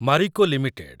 Marico limited